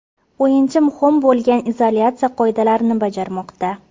O‘yinchi muhim bo‘lgan izolyatsiya qoidalarini bajarmoqda.